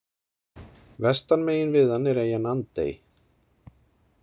Vestan megin við hann er eyjan Andey.